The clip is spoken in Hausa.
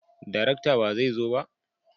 darakta ba zai zo ba?